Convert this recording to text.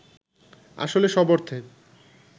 আসলে সব অর্থে